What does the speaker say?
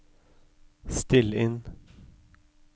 still inn